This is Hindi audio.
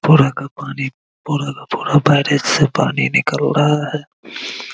पूरा का पानी पूरा का पूरा वायरेज से पानी निकल रहा है ।